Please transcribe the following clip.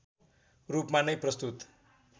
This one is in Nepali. रूपमा नै प्रस्तुत